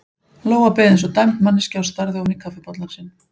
Lóa beið eins og dæmd manneskja og starði ofan í kaffibollann sinn.